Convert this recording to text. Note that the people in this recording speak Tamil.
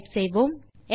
டைப் செய்யலாம்